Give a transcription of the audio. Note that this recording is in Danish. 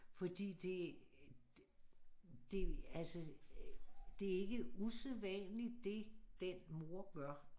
Fordi det det altså det ikke usædvanligt det den mor gør